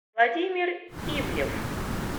владимир ивлев